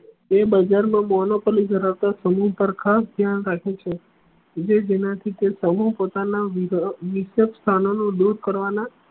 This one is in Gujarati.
એ બજાર મા monopoly ધરાવતો પર ખાસ ધ્યાન આપે છે જે જેના થી કોઈ સમૂહ પોતાના સ્થાનો નું દુર કરવાના